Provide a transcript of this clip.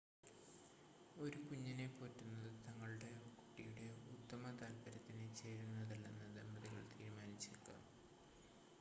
ഒരു കുഞ്ഞിനെ പോറ്റുന്നത് തങ്ങളുടെയോ കുട്ടിയുടെയോ ഉത്തമ താൽപ്പര്യത്തിന് ചേരുന്നതല്ലെന്ന് ദമ്പതികൾ തീരുമാനിച്ചേക്കാം